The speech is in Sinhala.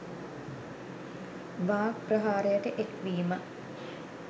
වාග් ප්‍රහාරයට එක් වීම